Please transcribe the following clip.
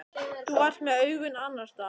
Þú varst með augun annars staðar.